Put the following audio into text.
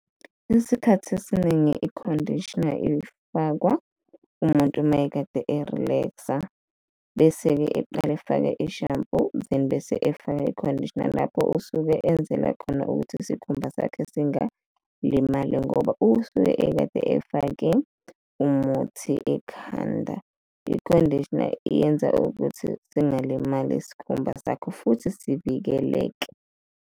Isikhathi esiningi i-conditioner ifakwa umuntu mayekade e-relax-a bese-ke eqale efake i-shampoo then bese efaka i-conditioner. Lapho usuke enzela khona ukuthi isikhumba sakhe singalimali ngoba usuke ekade efake umuthi ekhanda, i-conditioner iyenza ukuthi singalimali isikhumba sakho futhi sivikeleke.